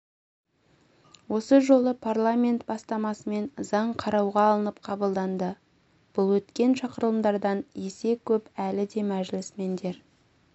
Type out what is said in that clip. осы жолы парламент бастамасымен заң қарауға алынып қабылданды бұл өткен шақырылымдардан есе көп әлі де мәжілісмендер